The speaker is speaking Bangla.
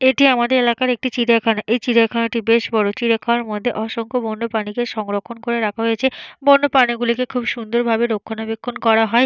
এটি আমাদের এলাকার একটি চিড়িয়াখানা। এই চিড়িয়াখানাটি বেশ বড়। চিড়িয়াখানার মধ্যে অসংখ্য বন্য প্রাণীকে সংরক্ষণ করে রাখা হয়েছে। বন্য প্রাণীগুলিকে খুব সুন্দর ভাবে রক্ষনাবেক্ষন করা হয়।